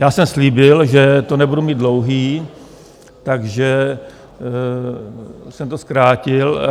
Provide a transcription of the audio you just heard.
Já jsem slíbil, že to nebude mít dlouhé, takže jsem to zkrátil.